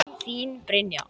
Þín Brynja.